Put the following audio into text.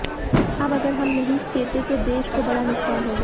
अब अगर हम नही चेतें तो देश को बड़ा नुक़सान होगा